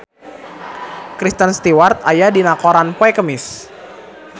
Kristen Stewart aya dina koran poe Kemis